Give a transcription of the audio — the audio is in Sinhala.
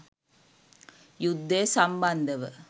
යුද්ධය සම්බන්ධව